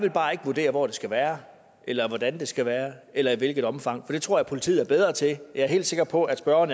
vil bare ikke vurdere hvor det skal være eller hvordan det skal være eller i hvilket omfang for det tror jeg at politiet er bedre til jeg er helt sikker på at spørgeren